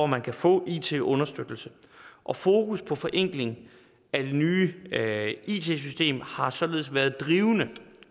man kan få it understøttelse og fokus på forenkling af det nye it system har således været drivende